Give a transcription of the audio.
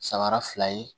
Sabara fila ye